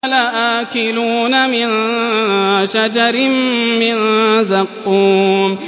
لَآكِلُونَ مِن شَجَرٍ مِّن زَقُّومٍ